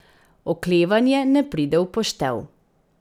Oklevanje ne pride v poštev.